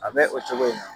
A bɛ o cogo in na